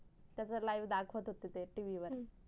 त्याचा live दाखवत होते ते YV वर